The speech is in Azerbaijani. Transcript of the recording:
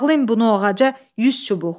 Bağlayın bunu ağaca yüz çubuq.